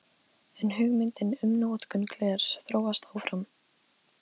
En hugmyndin um notkun glers þróast áfram.